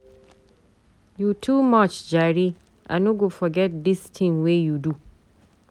You too much jare, I no go forget dis tin wey you do.